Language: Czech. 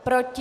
Proti?